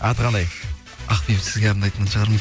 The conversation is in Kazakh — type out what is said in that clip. аты қандай ақбибі сізге арнайтын шығармын